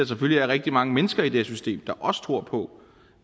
selvfølgelig rigtig mange mennesker i det system der også tror på